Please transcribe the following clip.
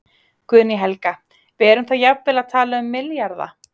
Guðný Helga: Við erum þá jafnvel að tala um milljarða?